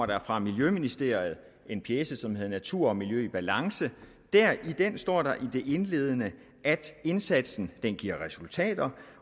der fra miljøministeriet en pjece som hed natur og miljø i balance i den står der i det indledende at indsatsen giver resultater